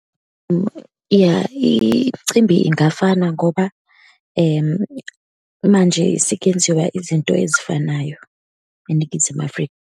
Iya, imcimbi ingafana ngoba manje sekuyenziwa izinto ezifanayo eNingizimu Afrika.